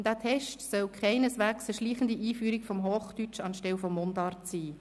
Dieser Test soll keineswegs eine schleichende Einführung des Hochdeutschen anstelle der Mundart darstellen.